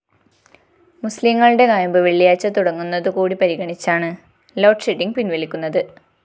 മുസ്ലീംങ്ങളുടെ നൊയമ്പ്‌ വെള്ളിയാഴ്ച തുടങ്ങുന്നതുകൂടി പരിഗണിച്ചാണ്‌?ലോഡ്ഷെഡ്ഡിംഗ്‌ പിന്‍വലിക്കുന്നത്‌